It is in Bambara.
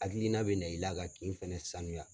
Hakilina bɛ na i la ka kin in fɛnɛ saniya.